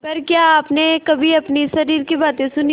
पर क्या आपने कभी अपने शरीर की बात सुनी है